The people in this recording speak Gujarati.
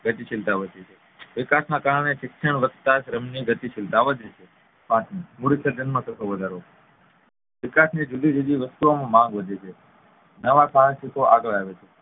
ગતિશીલતા વધે છે વિકાસના કારણે શિક્ષણ વધતા શ્રમની ગતિશીલતા વધે છે પાંચમું માં થતો વધારો વિકાસની જુદી જુદી વસ્તુઓ માં માંગ વધે છે નવા આગળ આવે છે